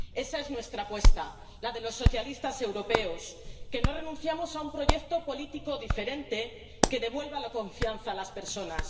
Esa es nuestra apuesta, la de los socialistas europeos, que no renunciamos a un proyecto político diferente que devuelva la confianza a las personas.